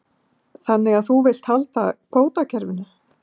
Þannig að þú vilt halda kvótakerfinu?